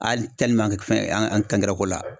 Hali fɛn an angɛrɛko la.